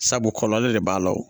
Sabu kɔlɔlɔ de b'a la o